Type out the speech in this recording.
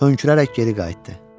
Hönkürərək geri qayıtdı.